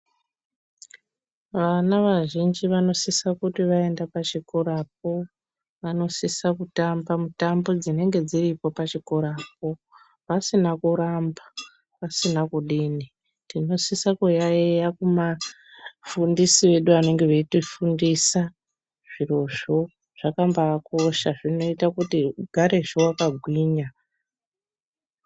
Vana vazhinji vanosise kuti vaende pachikorapo vanosise kutamba mitambo dzinenge dziripo pachikorapo pasina kuramba pasina kudini. Tinosise kuyaiya kuvafundisi vedu vanenge veitifundisa zvirozvo zvakabaakosha zvinoita kuti ugare wakagwinya.